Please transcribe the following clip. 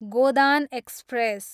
Godan express